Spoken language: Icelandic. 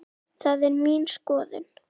Það er mín skoðun.